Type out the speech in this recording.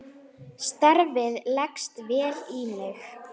Starfið leggst vel í mig.